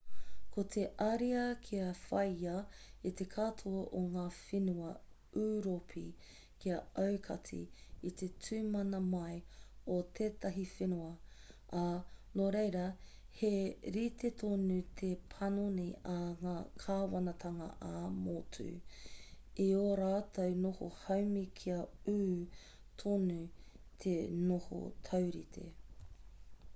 ko te ariā kia whāia e te katoa o ngā whenua ūropi kia aukati i te tū mana mai o tētahi whenua ā nō reira he rite tonu te panoni a ngā kāwanatanga ā-motu i ō rātou noho haumi kia ū tonu te noho taurite